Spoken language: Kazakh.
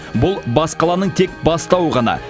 бұл бас қаланың тек бастауы ғана